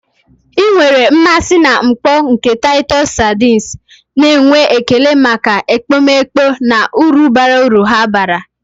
Ị nwere mmasị na mkpọ nke Taịtọs sardines, na-enwe ekele maka ekpomeekpo na uru bara uru ha bara.